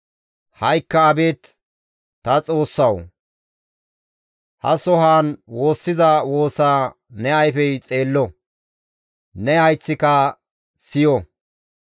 «Ha7ikka abeet ta Xoossawu! Ha sohaan woossiza woosaa ne ayfey xeello; ne hayththika siyo.